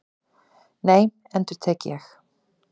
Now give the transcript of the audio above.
Nei, endurtek ég.